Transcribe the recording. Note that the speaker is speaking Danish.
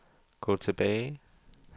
gå tilbage